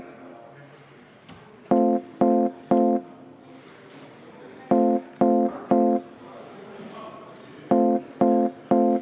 Saab tehtud.